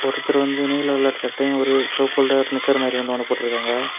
ஒருத்தர் வந்துட்டு நீல கலர் சட்டையும் ஒரு சிவப்பு கலர் நிக்கர் மாறி ஒன்னையும் போட்டுருக்காங்க.